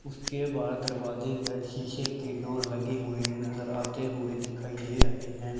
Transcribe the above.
उसके बाहर दरवाजे पर शीशे की डोर लगे हुए नजर आते हुए दिखाई दे रहे हैं।